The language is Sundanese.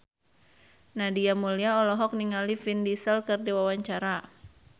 Nadia Mulya olohok ningali Vin Diesel keur diwawancara